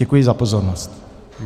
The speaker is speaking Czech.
Děkuji za pozornost.